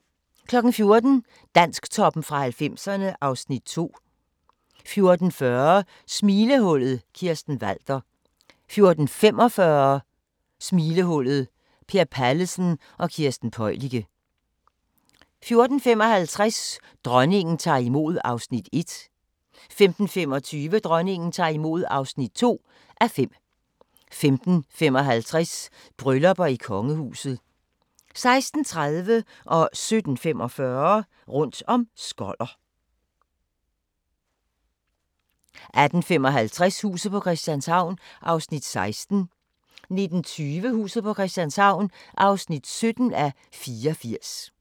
14:00: Dansktoppen fra 90'erne (Afs. 2) 14:40: Smilehullet – Kirsten Walther 14:45: Smilehullet – Per Pallesen og Kirsten Peüliche 14:55: Dronningen tager imod (1:5) 15:25: Dronningen tager imod (2:5) 15:55: Bryllupper i kongehuset 16:30: Rundt om Skoller 17:45: Rundt om Skoller 18:55: Huset på Christianshavn (16:84) 19:20: Huset på Christianshavn (17:84)